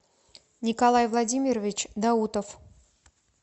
николай владимирович даутов